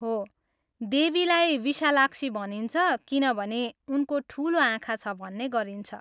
हो, देवीलाई विशालाक्षी भनिन्छ किनभने उनको ठुलो आँखा छ भन्ने गरिन्छ।